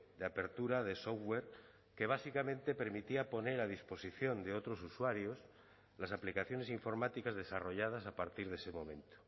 de apertura de software que básicamente permitía poner a disposición de otros usuarios las aplicaciones informáticas desarrolladas a partir de ese momento